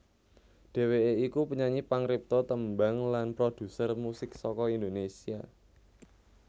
Dhèwèké iku penyanyi pangripta tembang lan prodhuser musik saka Indonésia